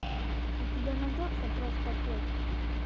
у тебя найдется просто пек